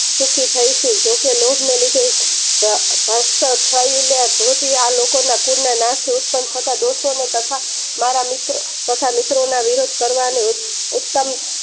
સુખી થાય ચુ લોગ ને લીધે ધૃતીય આ લોકો ના કૂન ના નાસ એ ઉત્પન્ન થતા પુત્રોને મારા મિત્રો તથા મિત્રો ના વિરુદ્ધ કરવાની ઉત્તમ